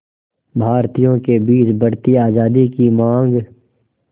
भारतीयों के बीच बढ़ती आज़ादी की मांग